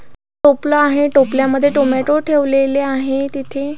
टोपला आहे टोपल्या मध्ये टोमॅटो ठेवलेले आहेत तिथे--